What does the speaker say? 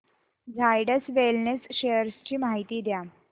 Zydus wellness shares ची माहिती द्या